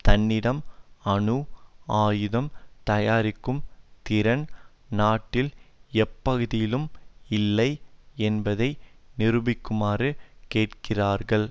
தன்னிடம் அணு ஆயுதம் தயாரிக்கும் திறன் நாட்டில் எப்பகுதியிலும் இல்லை என்பதை நிரூபிக்குமாறு கேட்கிறார்கள்